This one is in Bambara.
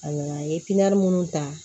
A nana a ye minnu ta